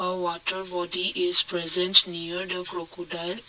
A water body is present near the crocodile.